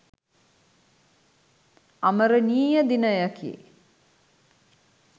අමරණීය දිනයකි